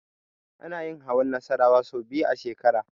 Ana yin hawan Nassarawa sau biyu a shekara.